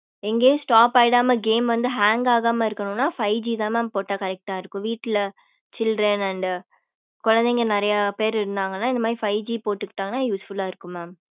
எங்கயும் stop ஆயிடாம game வந்து hang ஆகம இருக்கணும்ன five G தா mam போட்ட correct ஆஹ் இருக்கும் வீட்டுல children and குழைந்தைக நெறைய பேரு இருந்தகன இந்த மாதிரி five G போடுகிடகன useful ஆஹ் இருக்கும் mam